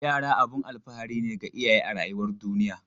Yara abun alfahari ne ga iyaye a rayuwar duniya.